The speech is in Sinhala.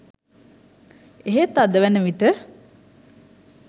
එහෙත් අද වන විට